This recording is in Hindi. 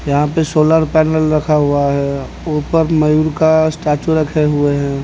यहां पे सोलर पैनल रखा हुआ है ऊपर मयूर का स्टेचू रखे हुए हैं।